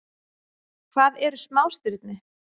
Hvað eru smástirni?